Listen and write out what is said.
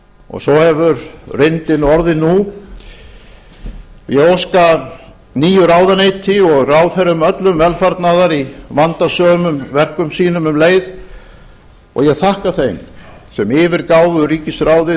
og svo hefur reyndin orðið nú ég óska nýju ráðuneyti og ráðherrum öllum velfarnaðar í vandasömum verkum sínum um leið og ég þakka þeim sem yfirgáfu ríkisráðið